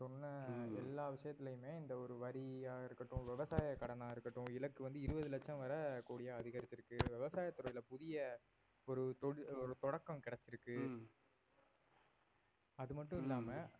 சொன்ன எல்லா விஷயத்திலயுமே இந்த ஒரு வரியா இருக்கட்டும் விவசாய கடனா இருக்கட்டும் இலக்கு வந்து இருவது லட்சம் வரை கூடிய அதிகரிச்சிருக்கு விவசாயத் துறையில புதிய ஒரு தொ~ தொடக்கம் கிடைச்சிருக்கு அது மட்டும் இல்லாம